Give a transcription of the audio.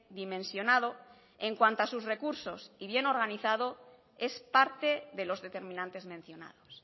dimensionado en cuanto a sus recursos y bien organizado es parte de los determinantes mencionados